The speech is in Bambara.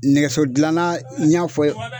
Nɛgɛso dilanna n y'a fɔ